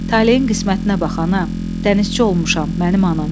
Taleyin qismətinə bax ana, dənizçi olmuşam, mənim anam,